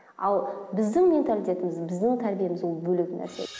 ал біздің менталитетіміз біздің тәрбиеміз ол бөлек нәрсе